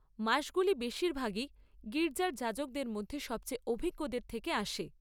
মাসগুলি বেশিরভাগই গির্জার যাজকদের মধ্যে সবচেয়ে অভিজ্ঞদের থেকে আসে।